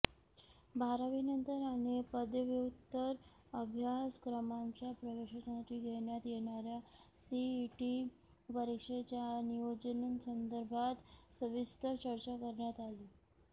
बारावी नंतर आणि पदव्युत्तर अभ्यासक्रमांच्या प्रवेशांसाठी घेण्यात येणाऱ्या सीईटी परीक्षेच्या नियोजनासंदर्भात सविस्तर चर्चा करण्यात आली